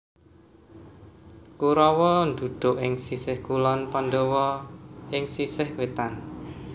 Kurawa ndhuduk ing sisih kulon Pandhawa ing sisih wetan